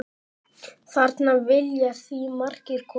Þarna vilja því margir koma.